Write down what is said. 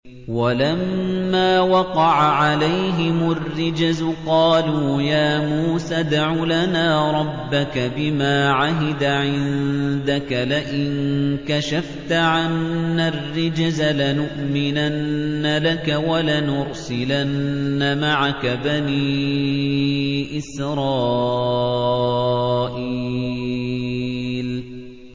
وَلَمَّا وَقَعَ عَلَيْهِمُ الرِّجْزُ قَالُوا يَا مُوسَى ادْعُ لَنَا رَبَّكَ بِمَا عَهِدَ عِندَكَ ۖ لَئِن كَشَفْتَ عَنَّا الرِّجْزَ لَنُؤْمِنَنَّ لَكَ وَلَنُرْسِلَنَّ مَعَكَ بَنِي إِسْرَائِيلَ